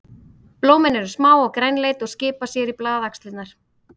Blómin eru smá og grænleit og skipa sér í blaðaxlirnar.